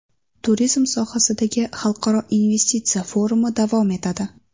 Turizm sohasidagi xalqaro investitsiya forumi davom etadi.